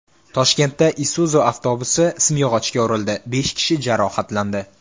Toshkentda Isuzu avtobusi simyog‘ochga urildi, besh kishi jarohatlandi.